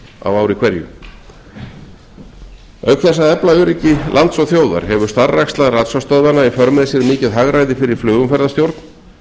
á ári að lágmarki auk þess að efla öryggi lands og þjóðar hefur starfræksla ratsjárstöðvanna í för með sér mikið hagræði fyrir flugumferðarstjórn